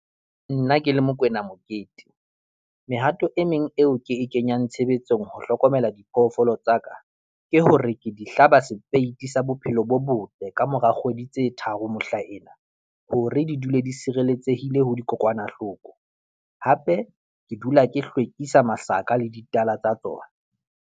Nna ke le Mokoena Mokete, mehato e meng eo ke e kenyang tshebetsong ho hlokomela diphoofolo tsa ka ke hore ke di hlaba sepeiti sa Bophelo bo Botle kamora kgwedi tse tharo mohlaena hore di dule di sirelletsehile ho dikokwanahloko, hape ke dula ke hlwekisa masaka le ditala tsa tsona.